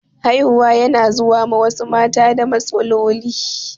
Haihuwa yana zuwa ma wasu mata da matsaloli.